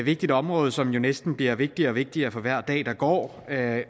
vigtigt område som næsten bliver vigtigere og vigtigere for hver dag der går og at